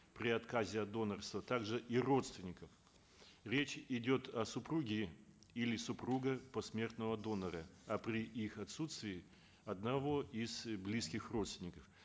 при отказе от донорства также и родственников речь идет о супруге или супругах посмертного донора а при их отсутствии одного из близких родственников